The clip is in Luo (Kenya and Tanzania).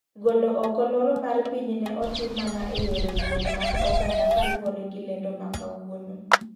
Golo oko loro mar piny ne otim mana e yore wuoth mag oganda kaluwore gi lendo makawuono.